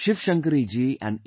Shiv Shankari Ji and A